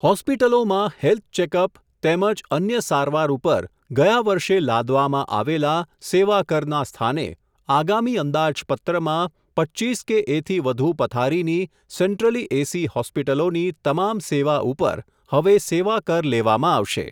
હોસ્પિટલોમાં, health checkup, તેમજ અન્ય સારવાર ઉપર, ગયા વર્ષે લાદવામાં આવેલા, સેવાકરના સ્થાને, આગામી અંદાજપત્રમાં, પચ્ચીસ કે એથી વધુ પથારીની, સેન્ટ્રલી એસી હોસ્પિટલોની, તમામ સેવા ઉપર, હવે સેવા કર લેવામાં આવશે.